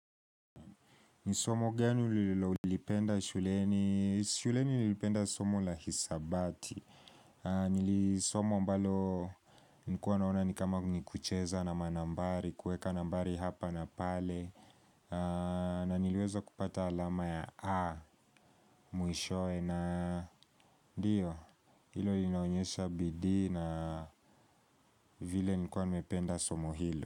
Ni somo gani ulilolipenda shuleni. Shuleni nilipenda somo la hisabati. Ni somo ambalo nilikuwa naona ni kama ni kucheza na manambari, kuweka nambari hapa na pale. Na niliweza kupata alama ya A, mwishowe na ndio. Hilo linaonyesha bidii na vile niikuwa nimependa somo hilo.